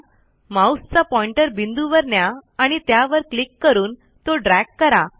माऊसचा पॉईंटर बिंदूवर न्या आणि त्यावर क्लिक करून तो ड्रॅग करा